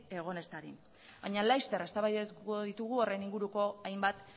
egon ez dadin baina laster eztabaidatuko ditugu horren inguruko hainbat